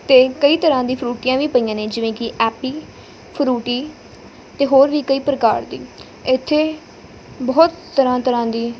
ਤੇ ਕਈ ਤਰ੍ਹਾਂ ਦੀ ਫਰੂਟੀਆਂ ਵੀ ਪਈਆਂ ਨੇ ਜਿਵੇਂ ਕਿ ਐਪੀ ਫਰੂਟੀ ਤੇ ਹੋਰ ਵੀ ਕਈ ਪ੍ਰਕਾਰ ਦੀ ਇੱਥੇ ਬਹੁਤ ਤਰ੍ਹਾਂ ਤਰ੍ਹਾਂ ਦੀ--